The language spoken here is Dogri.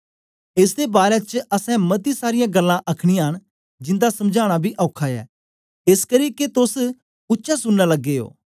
एस दे बारै च असैं मती सारीयां गल्लां आखनियां न जिन्दा समझाना बी औखा ऐ एसकरी के तोस उच्चा सुनना लगे ओ